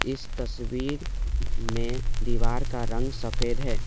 इस तस्वीर में दीवार का रंग सफेद है।